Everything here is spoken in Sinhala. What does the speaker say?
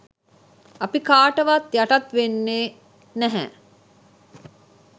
අපි කාටවත් යටත් වෙන්නේත් නැහැ.